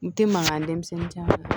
N te mankan denmisɛnnin